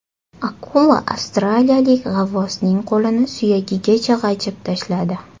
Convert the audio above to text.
Akula avstraliyalik g‘avvosning qo‘lini suyagigacha g‘ajib tashladi.